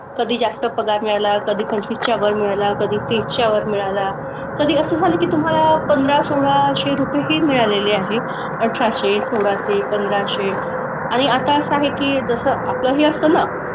कधी जास्त पगार मिळाला, कधी पंचवीसच्या वर मिळाला, कधी तीसच्या वर मिळाला. कधी असं झालं की तुम्हाला पंधरा, सोळाशे रुपयेही मिळालेले आहेत. अठराशे, सोळाशे, पंधराशे आणि आता असं आहे की जसं आपलंही असतं ना,